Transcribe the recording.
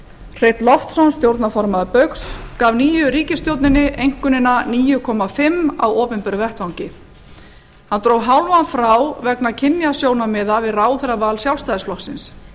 hreinn loftsson stjórnarformaður baugs gaf nýju ríkisstjórninni einkunnina níu komma fimm á opinberum vettvangi hann dró hálfan frá vegna kynjasjónarmiða við ráðherraval sjálfstæðisflokksins